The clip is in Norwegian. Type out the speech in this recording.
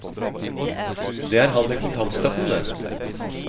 Det er han med kontantstøtten, det.